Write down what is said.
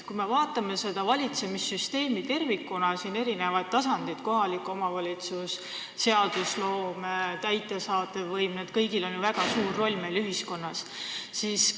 Kui me vaatame valitsemissüsteemi tervikuna ja selle eri tasandeid – kohalik omavalitsus, seadusloome, täidesaatev võim –, siis näeme, et neil kõigil on ju meie ühiskonnas väga suur roll.